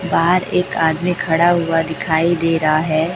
बाहर एक आदमी खड़ा हुआ दिखाई दे रहा है।